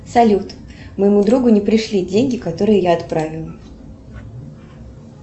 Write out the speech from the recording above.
салют моему другу не пришли деньги которые я отправила